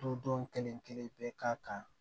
Du don kelen kelen bɛɛ ka kan